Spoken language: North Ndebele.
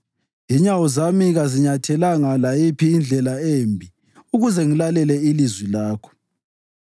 Inyawo zami kaziyinyathelanga layiphi indlela embi ukuze ngilalele ilizwi lakho.